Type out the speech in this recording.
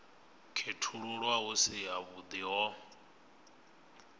khethululwa hu si havhuḓi ho